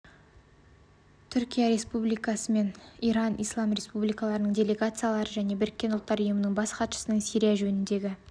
түркия республикасы мен иран ислам республикасының делегациялары және біріккен ұлттар ұйымы бас хатшысының сирия жөніндегі